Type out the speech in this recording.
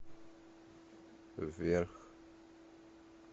вверх